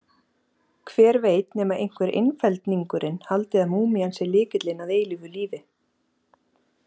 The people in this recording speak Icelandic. Hver veit nema einhver einfeldningurinn haldi að múmían sé lykillinn að eilífu lífi?